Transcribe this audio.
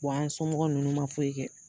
an somɔgɔw nunnu ma foyi kɛ.